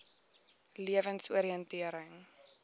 lewensoriëntering